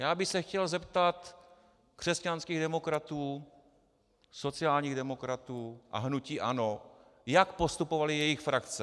Já bych se chtěl zeptat křesťanských demokratů, sociálních demokratů a hnutí ANO, jak postupovaly jejich frakce.